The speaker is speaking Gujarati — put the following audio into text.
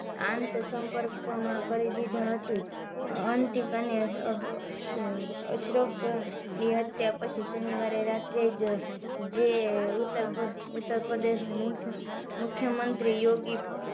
આંત સંપર્ક માં કરી દીધું હતું અંતિક અને અશરફ ની હત્યા પછી શનીવારે રાત્રેં જ જે ઉતરપ્રદેશ ના મુખ્યમંત્રી યોગી